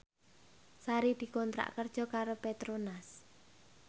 Sari dikontrak kerja karo Petronas